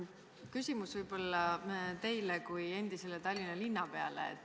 Küsimus võib-olla teile kui endisele Tallinna linnapeale.